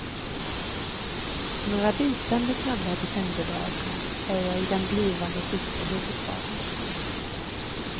Några bitande kalla decemberdagar är jag i den blivande tyska huvudstaden.